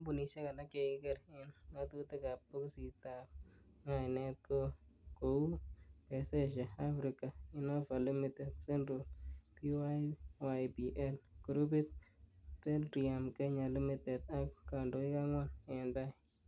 Kampunisiek alak che kikiger en ngatutikab bokisitab ngainet ko kou; Pezesha Afrika, Innova ltd,Central ,Pyypl grupit, Belrium kenya Ltd ak kandoik angwan en tai.